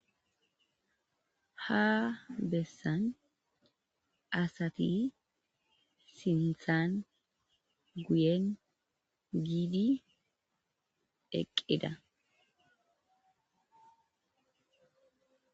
Ha bessan asati sinthan guyen giidi eqqida.